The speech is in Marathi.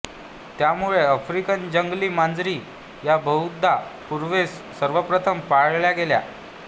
त्यामुळे आफ्रिकन जंगली मांजरी ह्या बहुधा पूर्वेस सर्वप्रथम पाळल्या गेल्या